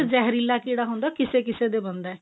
ਇੱਕ ਜਹਿਰੀਲਾ ਕੀੜਾ ਹੁੰਦਾ ਉਹ ਕਿਸੇ ਕਿਸੇ ਦੇ ਬਣਦਾ